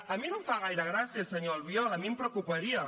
a mi no em fa gaire gràcia senyor albiol a mi em preocuparia